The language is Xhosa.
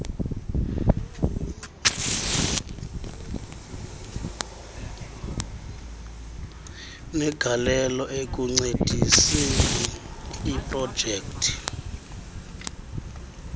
negalelo ekuncediseni iprojekthi